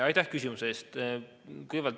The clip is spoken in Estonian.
Aitäh küsimuse eest!